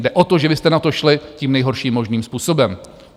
Jde o to, že vy jste na to šli tím nejhorším možným způsobem.